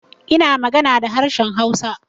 Ina magana da harshen Hausa.